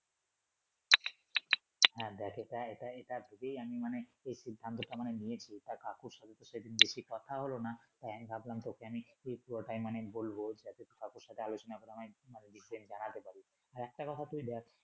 হ্যা দেখ এটা এটা ভেবেই আমি মানে একটু সিদ্ধান্তটা মানে নিয়েছি কাকুর সাথে সেদিন বেশি কথা হলো না তাই আমি ভাবলাম তোকে আমি সেই পুরোটাই মানে বলব যাতে সমস্যা টা আলোচনা হয় আর ওদিক দিয়ে জানাতে পারি আর একটা কথা তুই দ্যাখ।